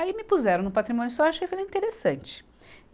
Aí me puseram no Patrimônio Histórico e acho que foi bem interessante.